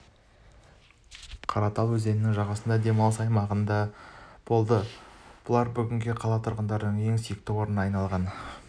қаратал өзенінің жағасындағы демалыс аймағында да болды бұлар бүгінде қала тұрғындарының ең сүйікті орындарына айналған